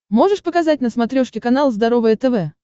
можешь показать на смотрешке канал здоровое тв